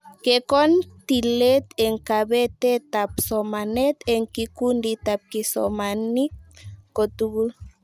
Kekon tilet eng kabetetab somanet eng kikunditab kisomanink kotugul